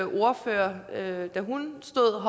ordfører da hun stod